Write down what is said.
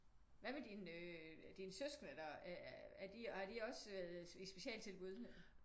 Hvad med dine søskende øh har de også været i specialtilbud?